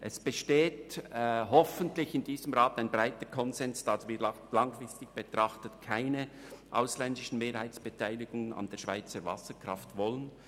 Es besteht in diesem Rat hoffentlich ein breiter Konsens darüber, dass wir langfristig keine ausländischen Mehrheitsbeteiligungen an der Schweizer Wasserkraft haben wollen.